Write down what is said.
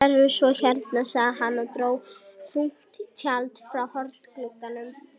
Sérðu svo hérna, sagði hann og dró þunnt tjald frá hornglugganum.